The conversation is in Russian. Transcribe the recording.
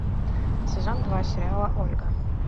сезон два сериала ольга